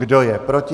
Kdo je proti?